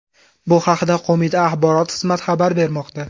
Bu haqda qo‘mita axborot xizmati xabar bermoqda.